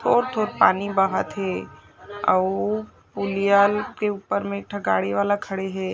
थोर-थोर पानी बहत हे अउ पुलियाँ ल के ऊपर में एक ठ गाड़ी वाला खड़े हे।